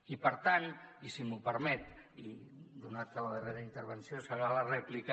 i per tant i si m’ho permet i donat que la darrera intervenció serà la rèplica